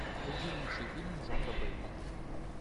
найди лучшие фильмы жанра боевик